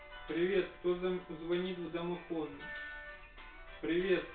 привет кто звонит в домофон привет